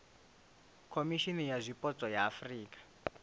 khomishimi ya zwipotso ya afurika